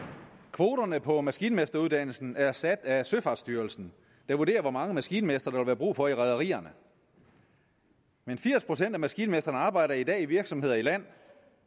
kvoterne på maskinmesteruddannelsen er sat af søfartsstyrelsen der vurderer hvor mange maskinmestre der vil være brug for i rederierne men firs procent af maskinmestrene arbejder i dag i virksomheder i land